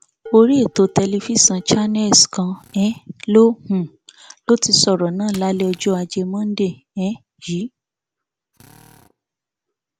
orí ètò tẹlifíṣàn channels kan um ló um ló ti sọrọ náà lálẹ ọjọ ajé monde um yìí